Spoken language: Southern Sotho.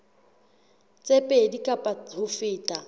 tse pedi kapa ho feta